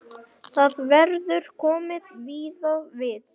Þar verður komið víða við.